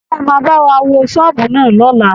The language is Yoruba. Ṣé ẹ máa wá wo ṣọ́ọ̀bù náà lọ́la?